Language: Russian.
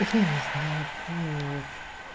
я не знаю по-моему